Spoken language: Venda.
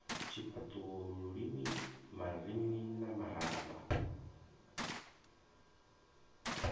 tshifhaṱuwo lulimi marinini na marama